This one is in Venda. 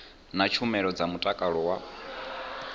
na tshumelo dza mutakalo wa